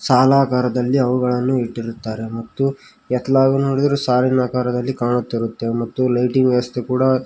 ಸಾಲಾಗಾರದಲ್ಲಿ ಅವುಗಳನ್ನು ಇಟ್ಟಿರುತ್ತಾರೆ ಮತ್ತು ಎತ್ತಲಾಗ ನೋಡಿದರು ಸಾಲಿನಾಕರದಲ್ಲಿ ಕಾಣುತ್ತಿರುತ್ತೆ ಮತ್ತು ಲೈಟಿಂಗ್ ವ್ಯವಸ್ಥೆ ಕೂಡ --